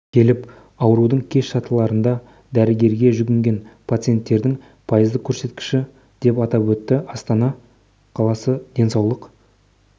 келіп аурудың кеш сатыларында дәрігерге жүгінген пациенттердің пайыздық көрсеткіші деп атап өтті астана қаласы денсаулық